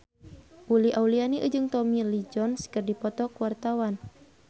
Uli Auliani jeung Tommy Lee Jones keur dipoto ku wartawan